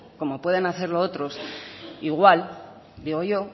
como pueden hacerlo otros igual digo yo